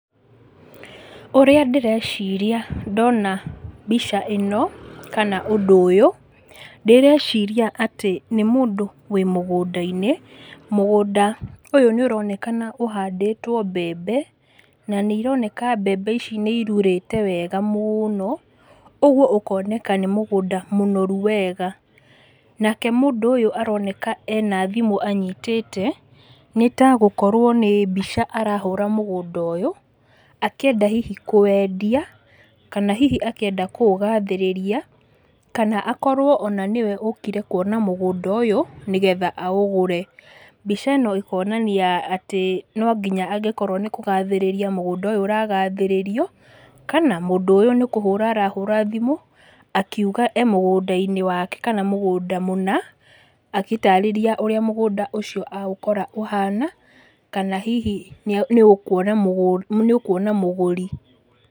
Ũrĩa ndĩreciria ndona mbica ĩno, kana ũndũ ũyũ, ndĩreciria atĩ nĩ mũndũ wĩ mũgũnda-inĩ, mũgũnda ũyũ nĩũronekana ũhandĩtwo mbembe, na nĩironeka mbembe ici nĩirurĩte wega mũno, ũguo ũkoneka nĩ mũgũnda mũnoru wega. Nake mũndũ ũyũ aroneka ena thimũ anyitĩte, nĩtagukorwo nĩ mbica arahũra mũgũnda ũyũ, akíenda hihi kũwendia, kana hihi akĩenda kũ ũgathĩrĩria, kana akorwo ona nĩwe ũkire kuona mũgũnda ũyũ nĩgetha aũgũre. Mbica ĩno ĩkonania atĩ nonginya angĩkorwo nĩkũgathĩrĩria mũgũnda ũyũ ũragathĩrĩrio, kana mũndú ũyũ nĩkũhũra arahũra thimũ akiuga e mũgũnda-inĩ wake kana mũgũnda mũna, agĩtarĩria ũrĩa mũgũnda ũcio aũkora ũhana, kana hihi nĩa nĩ ũkwona mũgũ nĩũkwona mũgũri.